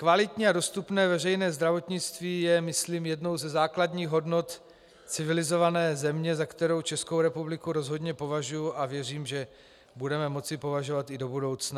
Kvalitní a dostupné veřejné zdravotnictví je myslím jednou ze základních hodnot civilizované země, za kterou Českou republiku rozhodně považuji, a věřím, že budeme moci považovat i do budoucna.